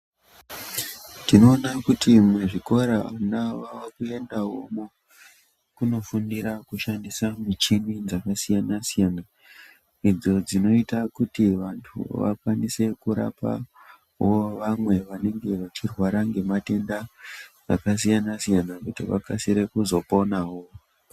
Tinoona kuti muzvikora vana vakuendawomwo kunofundira kushandisa muchini dzakasiyana siyana idzo dzinoita kuti vantu vakwanise kurapa vamwe vanenge vachirwara nematenda akasiyana siyana kuti vakasire kuzoponawo.